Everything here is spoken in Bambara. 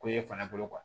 Ko e fana bolo